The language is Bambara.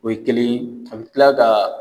O ye kelen ye, an bɛ tila ka